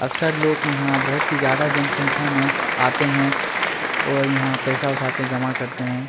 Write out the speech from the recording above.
अक्सर लोग कि यहाँ बहुत ही ज्यादा जनसंख्या में आते हैं और यहाँ पैसा उठाते जमा करते हैं।